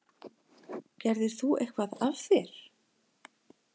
Gerðir þú eitthvað af þér?